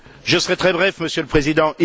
Je serai très bref, Monsieur le Président.